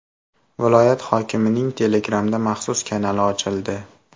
Viloyat hokimining telegramda maxsus kanali ochildi.